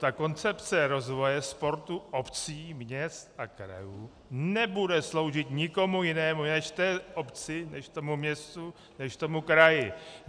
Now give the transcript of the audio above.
Ta koncepce rozvoje sportu obcí, měst a krajů nebude sloužit nikomu jinému než té obci, než tomu městu, než tomu kraji.